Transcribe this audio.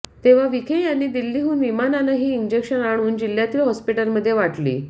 तेव्हा विखे यांनी दिल्लीहून विमानानं ही इंजेक्शन आणून जिल्ह्यातील हॉस्पिटलमध्ये वाटली